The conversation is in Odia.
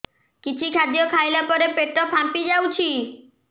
କିଛି ଖାଦ୍ୟ ଖାଇଲା ପରେ ପେଟ ଫାମ୍ପି ଯାଉଛି